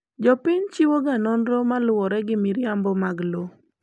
Jopiny chiwoga nonro maluwore gi miriambo mag lowo.